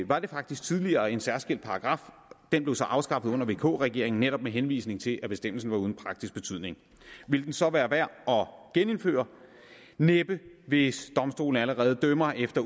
var det faktisk tidligere en særskilt paragraf den blev så afskaffet under vk regeringen netop med henvisning til at bestemmelsen var uden praktisk betydning ville den så være værd at genindføre næppe hvis domstolene allerede dømmer efter